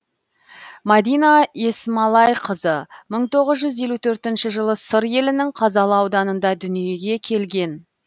мадина есмалайқызы мың тоғыз жүз елу төртінші жылы сыр елінің қазалы ауданында дүниеге келген